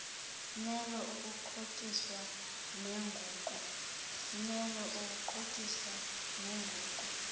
melo ukuxhotyiswa nenguqu